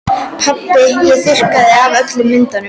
Pabbi ég þurrkaði af öllum myndunum.